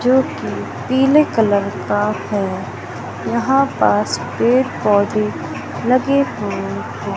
जो कि पीले कलर का है यहां पास पेड़-पौधे लगे हुए है।